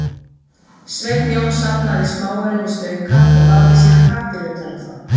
Sveinn Jón safnaði smáaurum í stauka og vafði síðan pappír utan um þá.